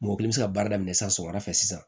Mɔgɔ kelen mi se ka baara daminɛ sisan sɔgɔmada fɛ sisan